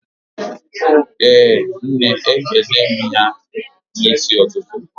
Ee nne, ekene m ya n'isi ututu